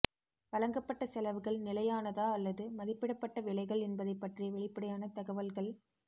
வழங்கப்பட்ட செலவுகள் நிலையானதா அல்லது மதிப்பிடப்பட்ட விலைகள் என்பதைப் பற்றிய வெளிப்படையான தகவல்கள்